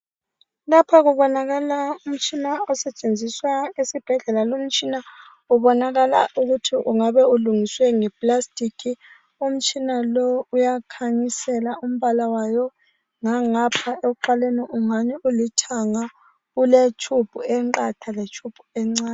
Lapha kubonakala umtshina usetshenziswa esibhedlela. Lumtshina ubonakala ukuthi ungabe ulungiswe nge"plastic".Umtshina lowu uyakhanyisela umbala wayo ngangapha ekuqaleni ungani ulithanga. Ule"tube" enqatha le"tube" encane.